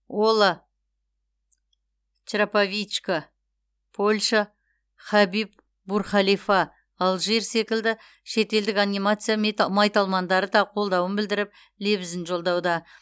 ола чраповичка польша хабиб бурхалифа алжир секілді шетелдік анимация майталмандары да қолдауын білдіріп лебізін жолдауда